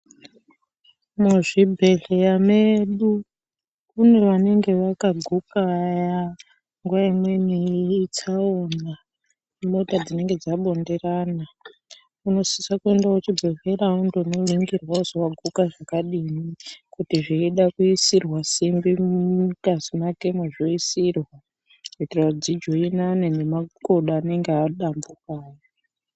Muzvibhehleya medu kune vanenge vakaguka vaya nguwa imweni itsaona, imota dzinenge dzabonderana unosisa kwenda kuchibhehleya ondoningirwa kuti waguka zvakadini kuti zveida kuisirwa simbi mungazi mwakemo dzoisirwa kuitira kuti dzijoinane nemakodo anenge adambuka aya.